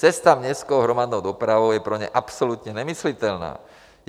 Cesta městskou hromadnou dopravou je pro ně absolutně nemyslitelná.